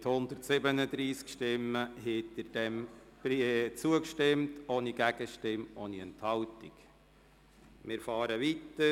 Mit 137 Stimmen haben Sie dem Antrag FDP ohne Gegenstimmen oder Enthaltungen zugestimmt.